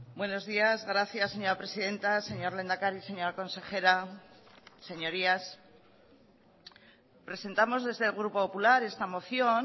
buenos días gracias señora presidenta señor lehendakari señora consejera señorías presentamos desde el grupo popular esta moción